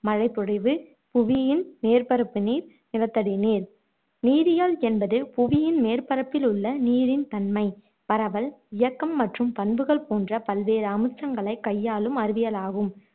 மழைப்பொழிவு, புவியின் மேற்பரப்பு நீர், நிலத்தடி நீர். நீரியல் என்பது புவியின் மேற்பரப்பில் உள்ள நீரின் தன்மை, பரவல், இயக்கம் மற்றும் பண்புகள் போன்ற பல்வேறும் அம்சங்களைக் கையாளும் அறிவியலாகும்